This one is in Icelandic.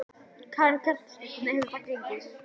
Karen Kjartansdóttir: Hvernig hefur það gengið?